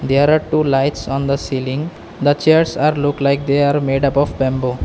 There are two lights on the ceiling the chairs are look like they are made up of bamboo.